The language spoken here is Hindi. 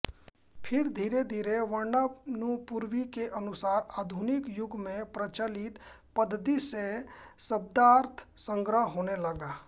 फिर धीरे धीरे वर्णानुपूर्वी के अनुसार आधुनिक युग में प्रचलित पद्धति से शब्दार्थसंग्रह होने लगा